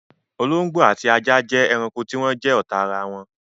Olóngbó ati ajá jẹ́ ẹranko tí wọn jẹ́ ọ́ta arawọn.